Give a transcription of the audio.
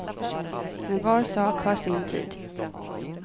Men var sak har sin tid.